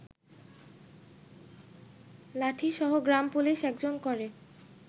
লাঠিসহ গ্রামপুলিশ একজন করে